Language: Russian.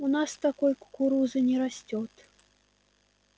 у нас такой кукурузы не растёт